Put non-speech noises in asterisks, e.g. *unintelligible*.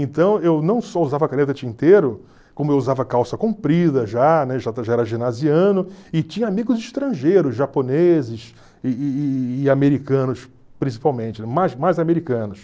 Então eu não só usava caneta tinteiro, como eu usava calça comprida já, né *unintelligible* já era *unintelligible* e tinha amigos estrangeiros, japoneses e e e americanos principalmente, mais mais americanos.